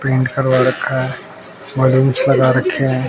Paint करवा रखा है बलूंस लगा रखे हैं।